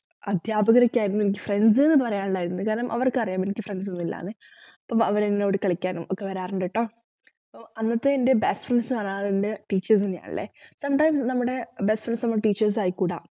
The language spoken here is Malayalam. അധ്യാപകരൊക്കെയായിരുന്നു എനിക്ക് friends ന്നു പറയാൻ ഉണ്ടായിരുന്നത് കാരണം അവർക്കറിയാം എനിക്ക് friends ഒന്നുമില്ല ന്നു അപ്പോ അവർ എന്നോട് കളിക്കാനും ഒക്കെ വരാറുണ്ടുട്ടോ അപ്പ അന്നത്തെ എന്റെ best friends ന്ന് പറയാനില്ലേ teachers തന്നെയാ ഉള്ളെ പണ്ട് നമ്മളെ best friends teachers ആയിക്കൂടാ